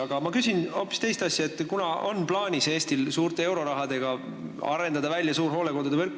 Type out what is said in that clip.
Aga ma küsin hoopis teist asja, kuivõrd Eestil on plaanis suure euroraha eest välja arendada suur hooldekodude võrk.